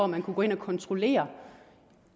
man kunne gå ind og kontrollere